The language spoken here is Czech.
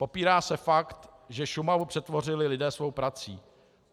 Popírá se fakt, že Šumavu přetvořili lidé svou prací.